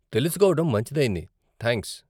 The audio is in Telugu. తెలుసుకోవడం మంచిదైంది, థాంక్స్.